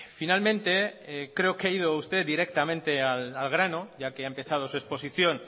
finalmente creo que ha ido usted directamente al grano ya que ha empezado su exposición